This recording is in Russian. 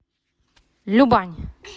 любань